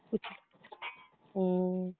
ഉം